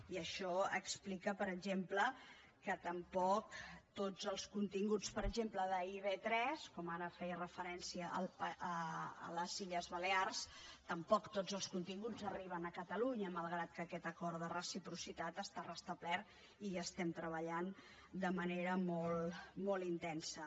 i això explica per exemple que tampoc tots els continguts per exemple d’ib3 com ara feia referència a les illes balears tampoc tots els continguts arriben a catalunya malgrat que aquest acord de reciprocitat està restablert i hi estem treballant de manera molt intensa